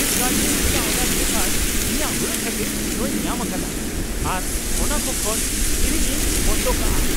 Flipkart ᱨᱮ ᱤᱧᱟᱹᱜ order ᱞᱮᱛᱟᱲ ᱤᱧᱟᱹᱜ ᱦᱩᱲᱟᱹᱜ ᱠᱷᱟᱹᱛᱤᱨ ᱱᱚᱶᱟᱧ ᱧᱟᱢ ᱟᱠᱟᱫᱟ ᱟᱨ ᱚᱱᱟ ᱠᱚ ᱠᱷᱚᱱ ᱠᱤᱨᱤᱧ ᱤᱧ ᱵᱚᱱᱫᱚ ᱠᱟᱜᱼᱟ ᱾